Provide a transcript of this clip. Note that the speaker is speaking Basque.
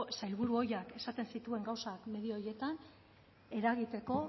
sailburu ohiak esaten zituen gauzak medio horietan eragiteko